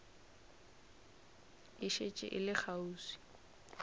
e šetše e le kgauswi